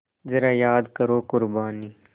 ज़रा याद करो क़ुरबानी